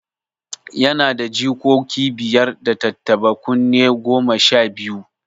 Yana da jikoki biyar, da tattaɓa kunne goma sha biyu.